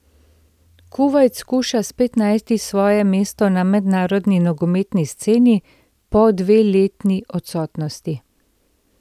Kuvajt skuša spet najti svoje mesto na mednarodni nogometni sceni po dveletni odsotnosti.